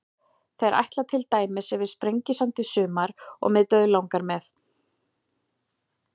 Þeir ætla til dæmis yfir Sprengisand í sumar og mig dauðlangar með.